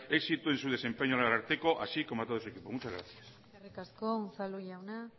éxito en su desempeño al ararteko así como a todo su equipo muchas gracias eskerrik asko unzalu jauna